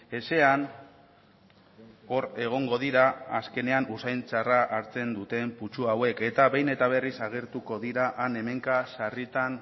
ezean hor egongo dira azkenean usain txarra hartzen duten putzu hauek eta behin eta berriz agertuko dira han hemenka sarritan